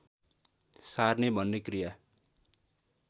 सार्ने भन्ने क्रिया